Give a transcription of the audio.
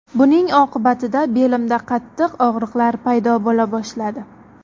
Buning oqibatida belimda qattiq og‘riqlar paydo bo‘la boshladi.